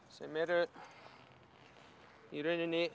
sem eru í rauninni